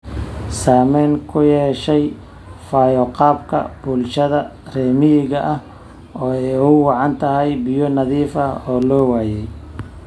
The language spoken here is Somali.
Saamayn ku yeeshay fayo-qabka bulshada reer miyiga ah oo ay ugu wacan tahay biyo nadiif ah oo la waayay.